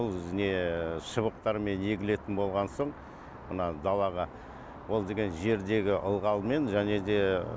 бұл не шыбықтармен егілетін болған соң мына далаға ол деген жердегі ылғалмен және де